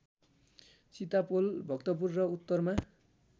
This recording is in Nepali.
चितापोल भक्तपुर र उत्तरमा